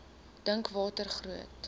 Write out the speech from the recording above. dink watter groot